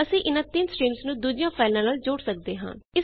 ਅਸੀਂ ਇਨਾਂ 3 ਸਟ੍ਰੀਮਜ਼ ਨੂੰ ਦੂਜੀਆਂ ਫਾਈਲਾਂ ਨਾਲ ਜੋੜ ਸਕਦੇ ਹਾਂ